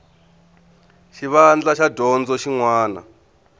xivandla xa dyondzo xin wana